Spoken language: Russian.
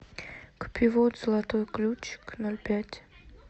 купи воду золотой ключик ноль пять